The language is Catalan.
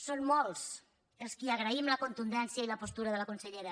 són molts els qui agraïm la contundència i la postura de la consellera